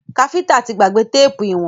Káfíntà tí gbàgbé téèpù ìwọ̀n.